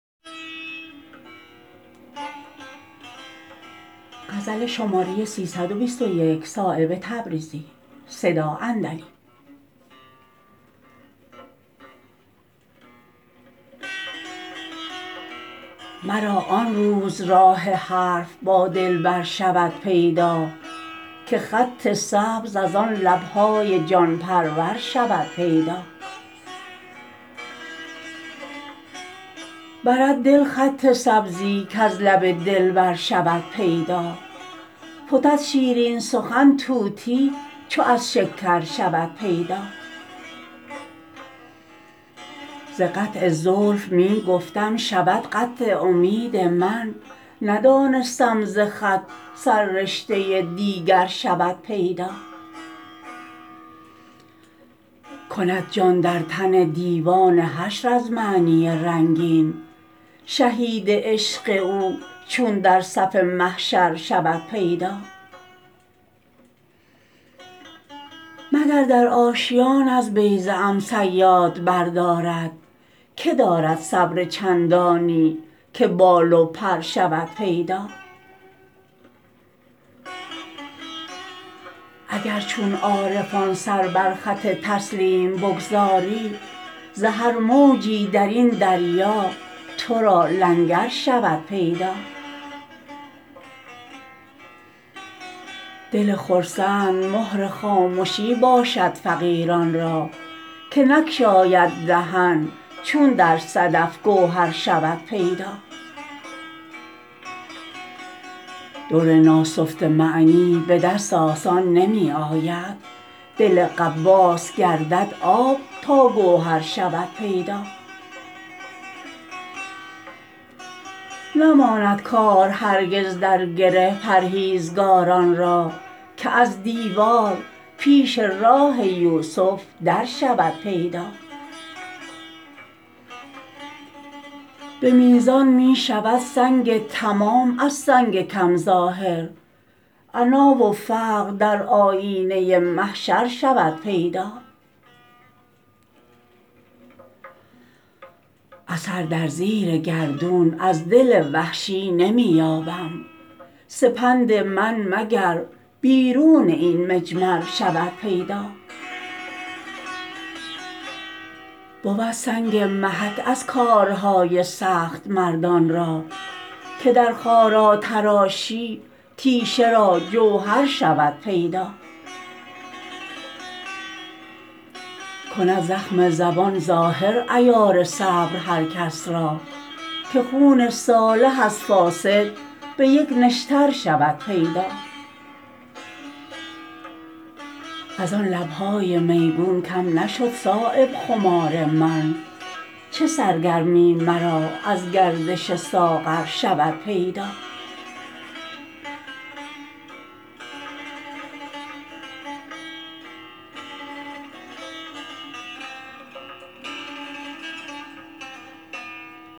مرا آن روز راه حرف با دلبر شود پیدا که خط سبز از آن لبهای جان پرور شود پیدا برد دل خط سبزی کز لب دلبر شود پیدا فتد شیرین سخن طوطی چو از شکر شود پیدا ز قطع زلف می گفتم شود قطع امید من ندانستم ز خط سررشته دیگر شود پیدا کند جان در تن دیوان حشر از معنی رنگین شهید عشق او چون در صف محشر شود پیدا مگر در آشیان از بیضه ام صیاد بردارد که دارد صبر چندانی که بال و پر شود پیدا اگر چون عارفان سر بر خط تسلیم بگذاری ز هر موجی درین دریا ترا لنگر شود پیدا دل خرسند مهر خامشی باشد فقیران را که نگشاید دهن چون در صدف گوهر شود پیدا در ناسفته معنی به دست آسان نمی آید دل غواص گردد آب تا گوهر شود پیدا نماند کار هرگز در گره پرهیزگاران را که از دیوار پیش راه یوسف در شود پیدا به میزان می شود سنگ تمام از سنگ کم ظاهر عنا و فقر در آیینه محشر شود پیدا اثر در زیر گردون از دل وحشی نمی یابم سپند من مگر بیرون این مجمر شود پیدا بود سنگ محک از کارهای سخت مردان را که در خارا تراشی تیشه را جوهر شود پیدا کند زخم زبان ظاهر عیار صبر هر کس را که خون صالح از فاسد به یک نشتر شود پیدا ازان لبهای میگون کم نشد صایب خمار من چه سرگرمی مرا از گردش ساغر شود پیدا